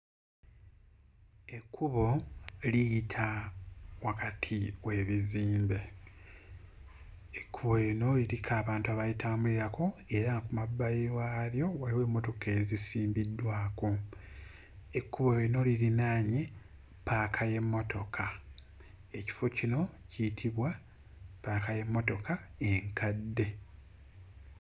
Ekkubo liyita wakati w'ebizinga; ekkubo lino liriko abantu abalitambulirako ku mabbali waalyo waliwo emmotoka ezisimbiddwako. Ekkubo lino lirinaanye ppaaka y'emmotoka. Ekifo kino kiyitibwa ppaaka y'emmotoka enkadde.